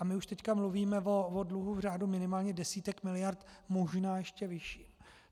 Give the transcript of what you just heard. A my už teď mluvíme o dluhu v řádu minimálně desítek miliard, možná ještě vyšším.